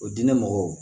O diinɛ mɔgɔw